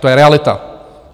To je realita.